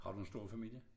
Har du en stor familie?